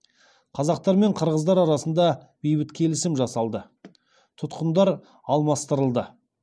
қазақтар мен қырғыздар арасында бейбіт келісім жасалды тұтқындар алмастырылды